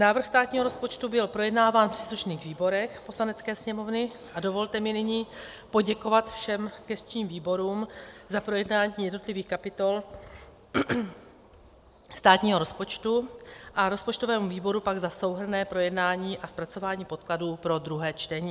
Návrh státního rozpočtu byl projednáván v příslušných výborech Poslanecké sněmovny a dovolte mi nyní poděkovat všem gesčním výborům za projednání jednotlivých kapitol státního rozpočtu a rozpočtovému výboru pak za souhrnné projednání a zpracování podkladů pro druhé čtení.